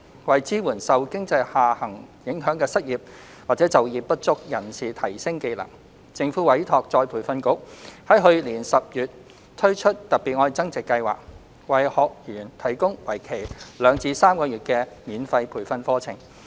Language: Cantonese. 為支援受經濟下行影響的失業或就業不足人士提升技能，政府委託再培訓局於去年10月推出"特別.愛增值"計劃，為學員提供為期兩至3個月的免費培訓課程。